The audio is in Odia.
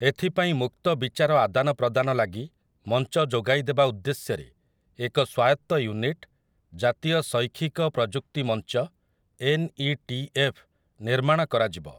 ଏଥିପାଇଁ ମୁକ୍ତ ବିଚାର ଆଦାନ ପ୍ରଦାନ ଲାଗି ମଞ୍ଚ ଯୋଗାଇ ଦେବା ଉଦ୍ଦେଶ୍ଯରେ ଏକ ସ୍ୱାୟତ୍ତ ୟୁନିଟ୍, ଜାତୀୟ ଶୈକ୍ଷିକ ପ୍ରଯୁକ୍ତି ମଞ୍ଚ ଏନ୍ ଇ ଟି ଏଫ୍, ନିର୍ମାଣ କରାଯିବ ।